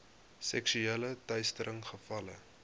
seksuele teistering gevalle